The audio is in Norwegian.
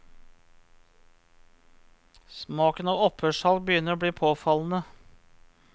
Smaken av opphørssalg begynner å bli påfallende.